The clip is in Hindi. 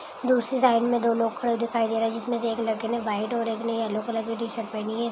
दूसरी साइट दो लोग खड़े दिखाई दे रहे है जिसमे से एक ने व्हाइट और दूसरे ने येलो शर्ट पहनी है।